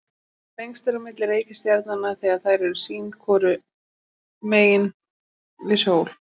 lengst er á milli reikistjarnanna þegar þær eru sín hvoru megin við sól